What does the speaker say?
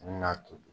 A bɛna toli